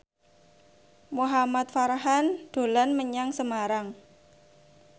Muhamad Farhan dolan menyang Semarang